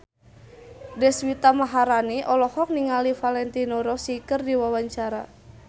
Deswita Maharani olohok ningali Valentino Rossi keur diwawancara